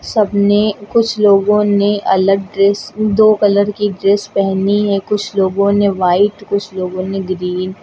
सबने कुछ लोगों ने अलग ड्रेस दो कलर की ड्रेस पेहनी है कुछ लोगों ने व्हाइट कुछ लोगों ने ग्रीन --